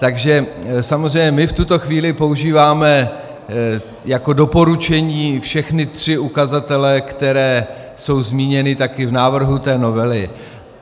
Takže samozřejmě my v tuto chvíli používáme jako doporučení všechny tři ukazatele, které jsou zmíněny také v návrhu té novely.